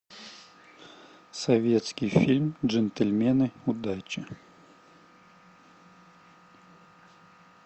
советский фильм джентльмены удачи